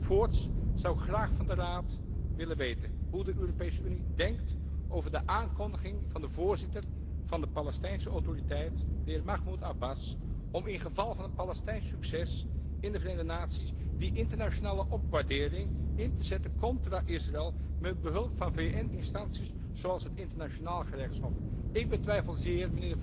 Voorts zou ik graag van de Raad willen weten hoe de Europese Unie denkt over de aankondiging van de voorzitter van de Palestijnse Autoriteit, de heer Mahmud Abbas, om in geval van een Palestijns succes in de Verenigde Naties die internationale opwaardering in te zetten tegen Israël met behulp van VN instanties, zoals het Internationaal Gerechtshof. Ik betwijfel zeer